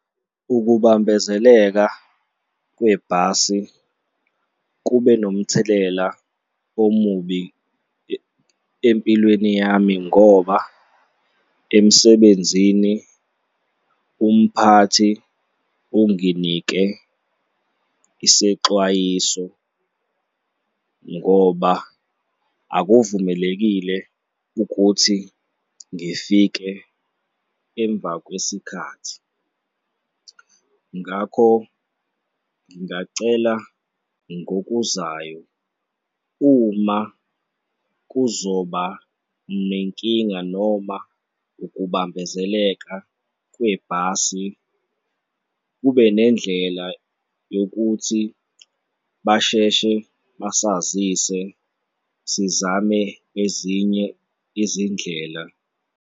Ukubambezeleka kwebhasi kube nomthelela omubi empilweni yami ngoba emsebenzini umphathi unginike isexwayiso ngoba akuvumelekile ukuthi ngifike emva kwesikhathi, ngakho ngingacela ngokuzayo uma kuzoba nenkinga noma ukubambezeleka kwebhasi kube nendlela yokuthi basheshe basazise sizame ezinye izindlela.